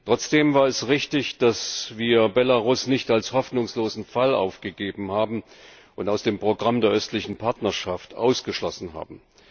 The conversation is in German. Trotzdem war es richtig, dass wir Belarus nicht als hoffnungslosen Fall aufgegeben haben und aus dem Programm der östlichen Partnerschaft ausgeschlossen haben.